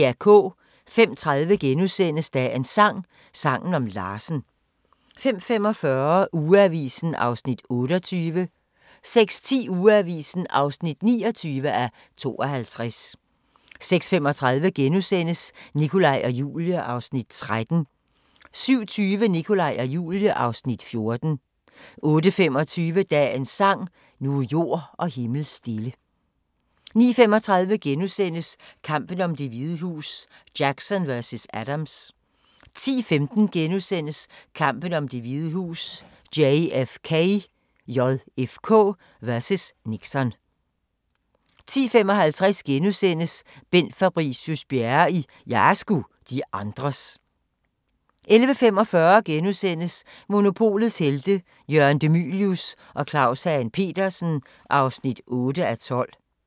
05:30: Dagens sang: Sangen om Larsen * 05:45: Ugeavisen (28:52) 06:10: Ugeavisen (29:52) 06:35: Nikolaj og Julie (Afs. 13)* 07:20: Nikolaj og Julie (Afs. 14) 08:25: Dagens sang: Nu er jord og himmel stille 09:35: Kampen om Det Hvide Hus: Jackson vs. Adams * 10:15: Kampen om Det Hvide Hus: JFK vs. Nixon * 10:55: Bent Fabricius-Bjerre i "Jeg er sgu de andres" 11:45: Monopolets Helte – Jørgen De Mylius og Claus Hagen Petersen (8:12)*